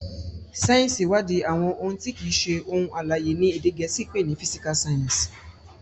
sáyẹnsì iwadi àwọn òun ti kii ṣe ohun alãye, ní èdè gèésì pé ní "physical science".